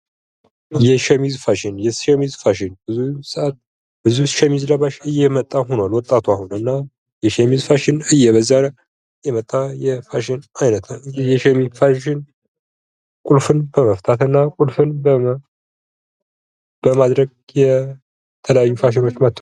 የሸሚዝ ፋሽን የሸሚዝ ፋሽን ብዙ ሸሚዝ ለባሽ እየመጣ ሁኗል ወጣት እነ የሸሚዝ ፋሽን እየበዛ የመጣ የፋሽን አይነት ነው። የሸሚዝ ፋሽን ቁልፍን በመፍታትና ቁልፍን በማድረግ የተለያዩ ፋሽኖች መጡ።